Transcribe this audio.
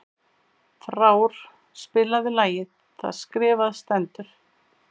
Frár, spilaðu lagið „Það skrifað stendur“.